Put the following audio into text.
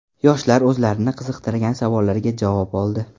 Yoshlar o‘zlarini qiziqtirgan savollarga javob oldi.